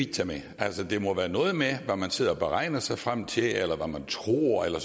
tage med altså det må være noget med hvad man sidder og beregner sig frem til eller hvad man tror eller